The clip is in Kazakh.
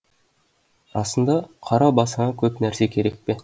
расында қара басыңа көп нәрсе керек пе